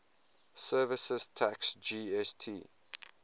services tax gst